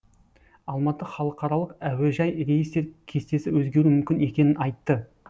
алматы халықаралық әуежайы рейстер кестесі өзгеруі мүмкін екенін айтты